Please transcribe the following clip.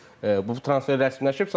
Artıq bu transfer rəsmiləşib.